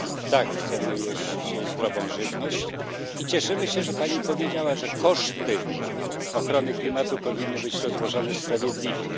Tak, chcemy jeść zdrową żywność i cieszymy się, że Pani powiedziała, że koszty ochrony klimatu powinny być rozłożone sprawiedliwie.